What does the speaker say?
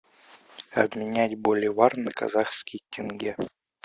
обменять боливар на казахский тенге